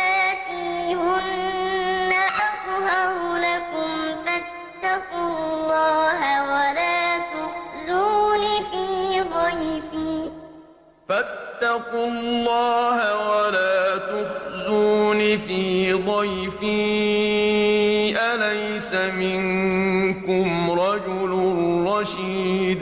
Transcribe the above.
رَجُلٌ رَّشِيدٌ وَجَاءَهُ قَوْمُهُ يُهْرَعُونَ إِلَيْهِ وَمِن قَبْلُ كَانُوا يَعْمَلُونَ السَّيِّئَاتِ ۚ قَالَ يَا قَوْمِ هَٰؤُلَاءِ بَنَاتِي هُنَّ أَطْهَرُ لَكُمْ ۖ فَاتَّقُوا اللَّهَ وَلَا تُخْزُونِ فِي ضَيْفِي ۖ أَلَيْسَ مِنكُمْ رَجُلٌ رَّشِيدٌ